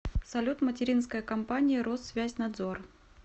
салют материнская компания россвязьнадзор